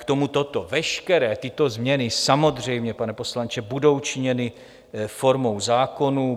K tomu toto: veškeré tyto změny samozřejmě, pane poslanče, budou činěny formou zákonů.